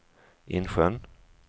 Insjön